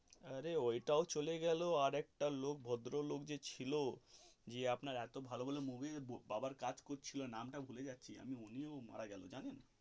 অরে ওই টাও চলে গেল আরেকটা লোক ভদ্রলোক ছিল যে আপনার এতো ভালো ভালো movies বাবার কাজ করছিলো নামটা ভুলে যাচ্ছি উনিও মারা গেলেন জানেন.